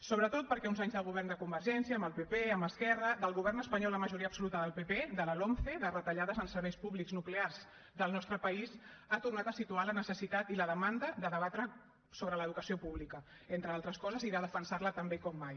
sobretot perquè uns anys de govern de convergència amb el pp amb esquerra de govern espanyol amb majoria absoluta del pp de la lomce de retallades en serveis públics nuclears del nostre país han tornat a situar la necessitat i la demanda de debatre sobre l’educació pública entre d’altres coses i de defensar la també com mai